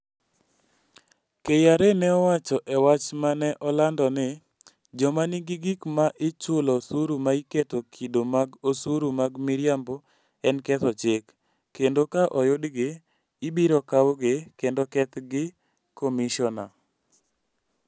KRA ne owacho e wach ma ne olando ni, "Joma nigi gik ma ichulo osuru ma iketo kido mag osuru mag miriambo en ketho chik, kendo ka oyudgi, ibiro kawgi, kendo kethgi gi Commissioner".